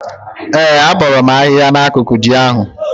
Ee, abọọrọ m ahịhịa nọ n'akụkụ ji ahụ.